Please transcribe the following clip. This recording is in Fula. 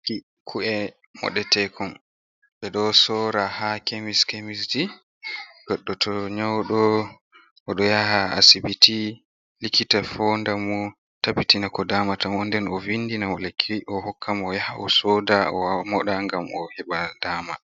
Ku’e moɗetekon ɗo sora ha kemis kemis, goɗɗo to nyouɗo oɗo yaha asibiti likita fondamo tabbitina ko damata mo, nden o vindina mo lekki o hokka mo o ya ha o soda o moɗa ngam o heba dama.